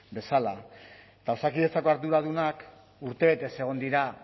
bezala osakidetzako arduradunak urtebetez egon dira